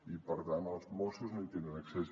i per tant els mossos no hi tenen accés